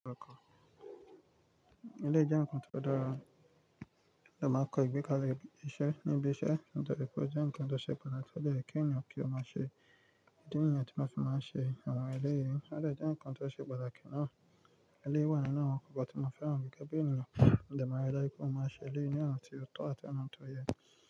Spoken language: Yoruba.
Eléyìí jẹ nkan tó dára la máa kọ́ ìgbẹ́ká ilé-iṣẹ́ níbi iṣẹ́. Nitoripe o jẹ nǹkan tó ṣe pàtàkì, ó yẹ kí ènìyàn kí ó máa ṣe. Idi nìyẹn tí mo fi máa ń ṣe àwọn eléyìí. Ó dẹ jẹ nǹkan tó ṣe pàtàkì ná. Eléyìí wà nínú àwọn nkan tí mo fẹ́ràn gẹ́gẹ́ bí ènìyàn. Mo dẹ ma ri dájú wípé mo máa ṣe eléyìí nì ti otọ àti ọnà tó yẹ.